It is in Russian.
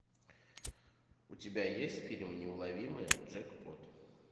у тебя есть фильм неуловимые джек пот